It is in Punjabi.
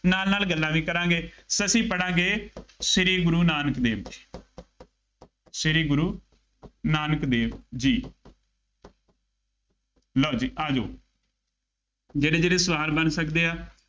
ਨਾਲ ਨਾਲ ਗੱਲਾਂ ਵੀ ਕਰਾਂਗੇ, ਸੋ ਅਸੀਂ ਪੜਾਂਗੇ ਸ਼੍ਰੀ ਗੁਰੂ ਨਾਨਕ ਦੇਵ ਜੀ, ਸ਼ੀ ਗੁਰੂ ਨਾਨਕ ਦੇਵ ਜੀ, ਲਉ ਜੀ, ਆ ਜਾਉ, ਜਿਹੜੇ ਜਿਹੜੇ ਸਵਾਲ ਬਣ ਸਕਦੇ ਆ,